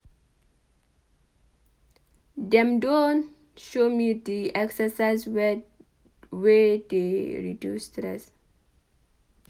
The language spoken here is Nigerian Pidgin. Dem don show me di exercise dem wey dey reduce stress.